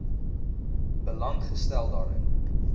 belang gestel daarin